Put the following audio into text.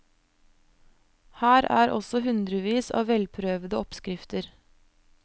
Her er også hundrevis av velprøvede oppskrifter.